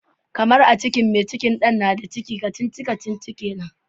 Karmar, a cikin mai cikin Dan na da ciki, kacici-kacici kenan.